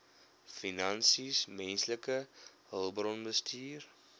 finansies menslike hulpbronbestuur